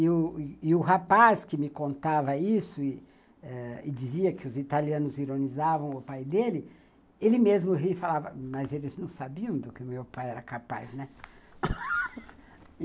E o rapaz que me contava isso e eh dizia que os italianos ironizavam o pai dele, ele mesmo riu e falava, mas eles não sabiam do que o meu pai era capaz, né?